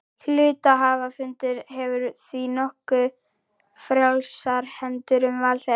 Hluthafafundur hefur því nokkuð frjálsar hendur um val þeirra.